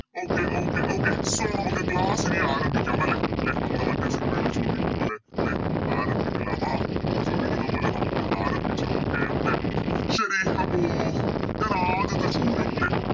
Okay okay okay so നമുക്ക് Class ഇനി ആരംഭിക്കാം അല്ലെ ലെ നമ്മളെ മറ്റേ Cinema ല് ചോദിക്കും പോലെ ലെ ആരംഭിക്കലമാ എന്ന് ചോദിക്കുന്ന പോലെ നമുക്കൊന്ന് ആരംഭിച്ച് നോക്കേണ്ട ശരി അപ്പൊ ആദ്യത്തെ ചോദ്യം ലെ